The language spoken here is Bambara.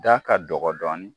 Da ka dɔgɔ dɔɔnin